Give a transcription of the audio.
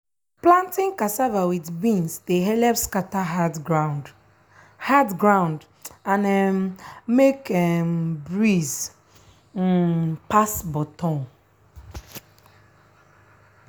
planting cassava with beans dey helep scatter hard ground hard ground and um make um breeze um pass bottom.